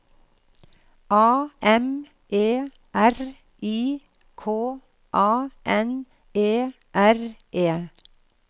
A M E R I K A N E R E